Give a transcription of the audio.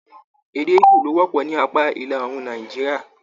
Èdè igbó lo wọpọ ní apá ìlàòrùn Nàìjíríà.